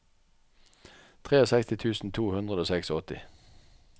sekstitre tusen to hundre og åttiseks